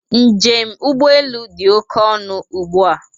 Njem ụgbọelu dị oké ọnụ ụgbụa